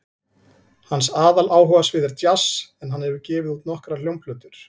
Hans aðaláhugasvið er djass en hann hefur gefið út nokkrar hljómplötur.